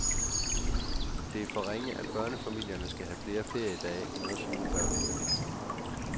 Det er for ringe, at børnefamilierne skal have flere feriedage end os uden børn.